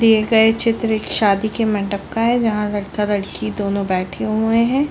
दिए गए चित्र एक शादी के मंडप का है जहाँ लड़का-लड़की दोनों बैठे हुए है।